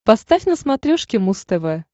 поставь на смотрешке муз тв